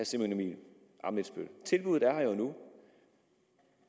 simon emil ammitzbøll tilbuddet